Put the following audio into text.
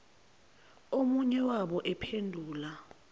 omunye wabo ephula